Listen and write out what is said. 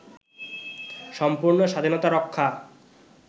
সম্পূর্ণ স্বাধীনতা-রক্ষা